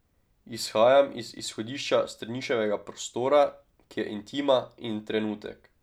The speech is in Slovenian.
Izhajam iz izhodišča Strniševega prostora, ki je intima in trenutek.